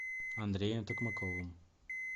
андреем токмаковым